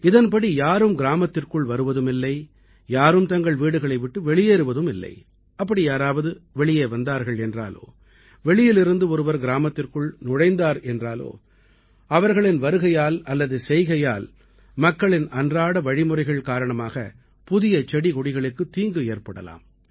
இதன்படி யாரும் கிராமத்திற்குள் வருவதுமில்லை யாரும் தங்கள் வீடுகளை விட்டு வெளியேறுவதுமில்லை அப்படி யாராவது வெளியே வந்தார்கள் என்றாலோ வெளியிலிருந்து ஒருவர் கிராமத்திற்குள் நுழைந்தார் என்றால் அவர்களின் வருகையால் அல்லது செய்கையால் மக்களின் அன்றாட வழிமுறைகள் காரணமாக புதிய செடிகொடிகளுக்குத் தீங்கு ஏற்படலாம்